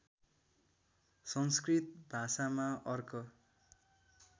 संस्कृत भाषामा अर्क